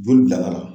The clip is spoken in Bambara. Joli bila ka na